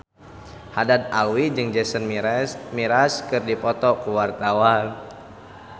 Haddad Alwi jeung Jason Mraz keur dipoto ku wartawan